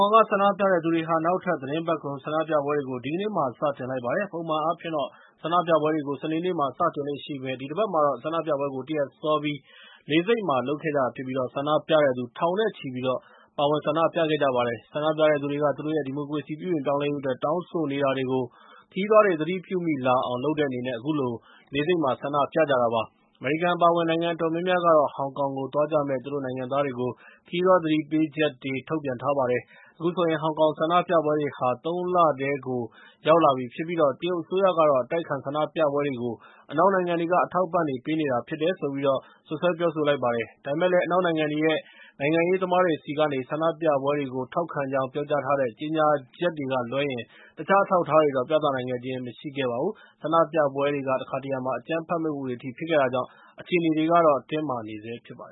ောင်က ဆန္ဒပြတဲ့သူတွေဟာ နောက်ထပ်သီတင်းပတ်ကုန် ဆန္ဒပြပွဲတွေကို ဒီကနေ့မှာ စတင်လိုက် ပါတယ်။ ပုံမှန်အားဖြင့်တော့ ဆန္ဒပြပွဲတွေကို စနေနေ့မှာ စတင်လေ့ရှိပေမယ့် ဒီတပတ်မှာတော့ ဆန္ဒပြပွဲတွေကို တရက်စောပြီး လေဆိပ်မှာ လုပ်ခဲ့ကြပါတယ်။ ဆန္ဒပြတဲ့သူတွေက ဒီမိုကရေစီ ပြုပြင်ပြောင်းလဲရေးအတွက် တောင်းဆိုနေတာတွေကို ခရီးသွားတွေ သတိပြုမိလာအောင် လုပ်တဲ့အနေနဲ့ အခုလို လေဆိပ်မှာ ဆန္ဒပြခဲ့ကြတာဖြစ်ပါတယ်။ အမေရိကန်အပါအဝင် နိုင်ငံအတော်များများကတော့ ဟောင်ကောင်ကိုသွားကြမယ့် သူတို့နိုင်ငံသားတွေကို ခရီးသွားသတိပေးချက်တွေ ထုတ်ပြန်ထားပါတယ်။ အခုဆိုရင် ဟောင်ကောင်ဆန္ဒပြပွဲတွေဟာ သုံးလထဲကို ရောက်လာပြီးဖြစ်ပြီး တရုတ်အစိုးရကတော့ အတိုက်အခံဆန္ဒပြပွဲတွေကို အနောက်နိုင်ငံတွေက အထောက်အပံ့တွေပေးနေတာ ဖြစ်တယ်လို့ ပြောပါတယ်။ ဒါပေမဲ့လည်း အနောက်နိုင်ငံတွေရဲ့ နိုင်ငံရေးသမားတွေဆီကနေ ဆန္ဒပြပွဲတွေကို ထောက်ခံကြောင်း ပြောကြားထားတဲ့ ကြေငြာချက်တွေကလွဲရင် တခြားအထောက်အထားတွေတော့ ပြသနိုင်ခြင်းမရှိခဲ့ပါဘူး။ ဆန္ဒပြပွဲတွေက တခါတရံမှာ အကြမ်းဖက်မှုတွေအထိဖြစ်ခဲ့တာကြောင့် အခြေအနေတွေကတော့ တင်းမာနေဆဲဖြစ်ပါတ